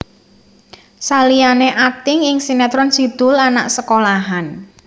Saliyané akting ing sinetron Si Doel Anak sekolahan